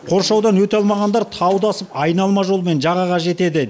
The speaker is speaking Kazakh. қоршаудан өте алмағандар тауды асып айналма жолмен жағаға жетеді